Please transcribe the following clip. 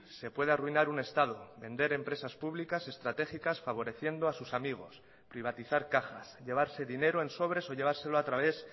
se puede arruinar un estado vender empresas públicas estratégicas favoreciendo a sus amigos privatizar cajas llevarse dinero en sobres o llevárselo a través